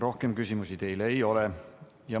Rohkem küsimusi teile ei ole.